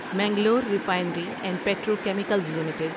Mangalore refinery and petrochemicals limited